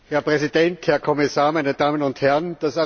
Herr Präsident, Herr Kommissar, meine Damen und Herren!